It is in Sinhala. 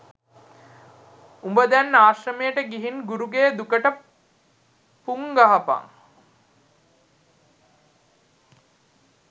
උඹ දැන් ආශ්‍රමයට ගිහිං ගුරුගේ දුකට පුං ගහපන්